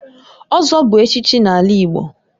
Ozo bu echichi n'ala Igbo